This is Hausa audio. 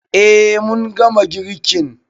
Eh mun gama girkin